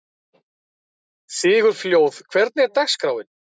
Sigurfljóð, hvernig er dagskráin?